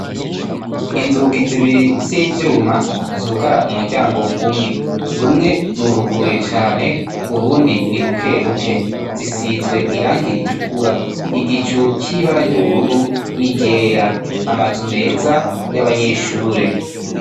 Inzugi zibiri z'ivyuma zugara umuryango umwe; rumwe ruruguruye cane urundi ni bukebuke, zisizwe irangi ritukura, igicu c'ibara ry'ubururu n'iryera, amazu meza y'abanyeshure.